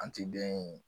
An ti den in